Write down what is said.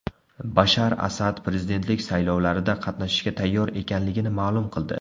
Bashar Asad prezidentlik saylovlarida qatnashishga tayyor ekanligini ma’lum qildi.